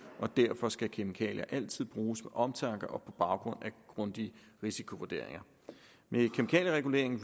og derfor skal kemikalier altid bruges med omtanke og på baggrund af grundige risikovurderinger i kemikaliereguleringen